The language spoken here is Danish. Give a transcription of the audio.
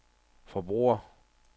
forbrugere